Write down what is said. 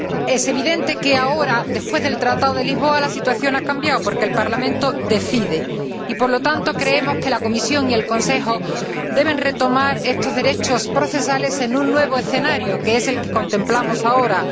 Es evidente que, ahora, después del Tratado de Lisboa, la situación ha cambiado, porque el Parlamento decide y, por lo tanto, creemos que la Comisión y el Consejo deben retomar estos derechos procesales en un nuevo escenario, que es el que contemplamos ahora.